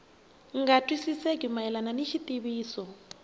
nga twisisekeki mayelana ni xitiviso